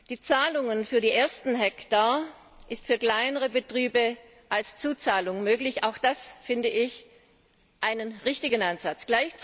Die Zahlungen für die ersten Hektar sind für kleinere Betriebe als Zuzahlung möglich auch das finde ich einen richtigen Ansatz.